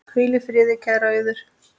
Hvíl í friði, kæra Auður.